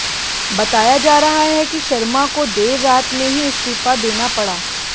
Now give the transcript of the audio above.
बताया जा रहा है कि शर्मा को देर रात में ही इस्तीफा देना पड़ा